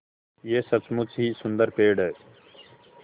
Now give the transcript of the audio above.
यह सचमुच ही सुन्दर पेड़ है